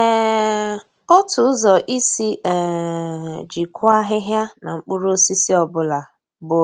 um Otu ụzọ isi um jikwaa ahịhịa na mkpụrụosisi ọ bụla bụ